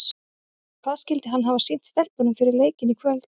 En hvað skyldi hann hafa sýnt stelpunum fyrir leikinn í kvöld?